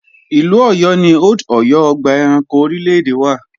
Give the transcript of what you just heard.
Ìlú Ọ̀yọ́ ni Old Ọ̀yọ́ ọgbà ẹranko orílè-èdè wà